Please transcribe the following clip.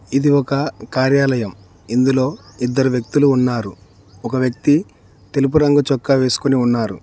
ఇది ఒక కార్యాలయం ఇందులో ఇద్దరు వ్యక్తులు ఉన్నారు ఒక వ్యక్తి తెలుపు రంగు చొక్కా వేసుకొని ఉన్నారు.